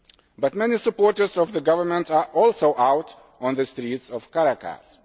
But many supporters of the government are also out on the streets of Caracas.